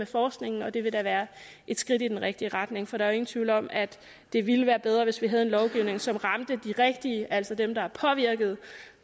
forskningen og det vil da være et skridt i den rigtige retning for der er jo ingen tvivl om at det ville være bedre hvis vi havde en lovgivning som ramte de rigtige altså dem der er påvirkede